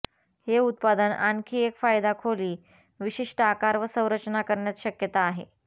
हे उत्पादन आणखी एक फायदा खोली विशिष्ट आकार व संरचना करण्यात शक्यता आहे